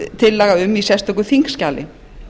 tillaga um í sérstöku þingskjali